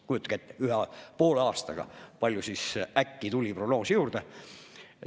Kujutage ette, kui palju poole aastaga äkki tuli prognoosi juurde!